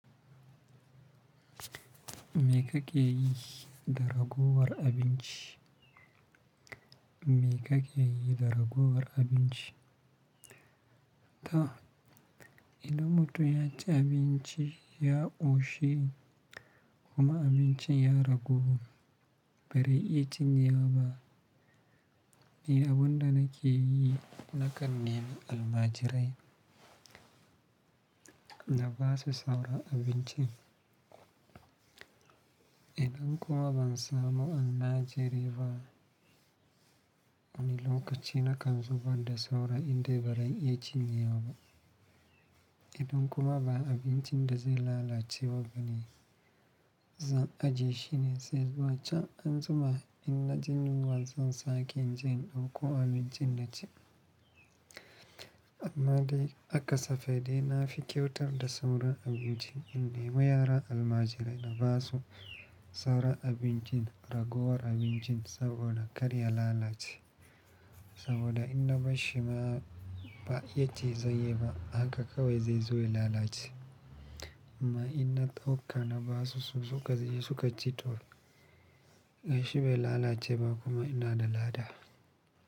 Me ka ke yi da raguwar abinci? Me ka ke yi da raguwar abinci? Ta. Idan mutum yaci abinci ya ƙoshi kuma abincin ya ragu bari iƴa cinye ba. Ni abunda nake yi na kan nemi almajirai na basu saura abinci. Idan kuma ban samu almajiri ba wani lokaci na kan zubar da saura inda ba zan iya cinye ba. Idan kuma ba abinci da zai lalace ba ne, zan ajiye shi ne sai zuwa can an jima inna jin wunya zan sake jinɗa ko abinci na ci. Almajirai aka safe dai na fi kyautar da sauran abinci indai ma yara almajirai na basu sauran abincin raguwar abincin saboda karya lalace. Saboda in na bashi ma ba iya ci zai yi ba haka kawai zai zo ya lalace. Amma in na ɗauka na basu su sukaje suka ci to gaishe bai lalace ba kuma ina da lada.